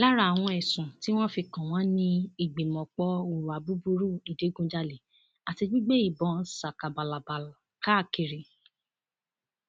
lára àwọn ẹsùn tí wọn fi kàn wọn ni ìgbìmọpọ hùwà búburú ìdígunjalè àti gbígbé ìbọn ṣakabàlàbà káàkiri